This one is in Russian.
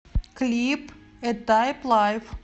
клип э тайп лайф